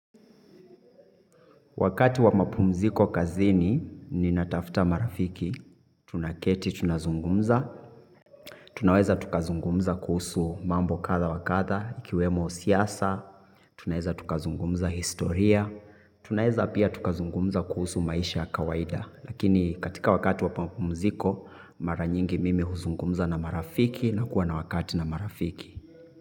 Wakati wa mapumziko kazini, ninatafta marafiki, tunaketi, tunazungumza, tunaweza tukazungumza kuhusu mambo katha wakatha, ikiwemo siyasa, tunaweza tukazungumza historia, tunaweza pia tukazungumza kuhusu maisha ya kawaida. Lakini katika wakati wa mapumziko, mara nyingi mimi huzungumza na marafiki na kuwa na wakati na marafiki.